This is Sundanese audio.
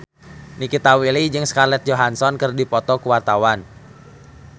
Nikita Willy jeung Scarlett Johansson keur dipoto ku wartawan